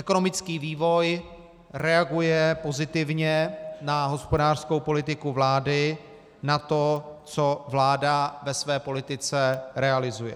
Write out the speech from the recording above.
Ekonomický vývoj reaguje pozitivně na hospodářskou politiku vlády, na to, co vláda ve své politice realizuje.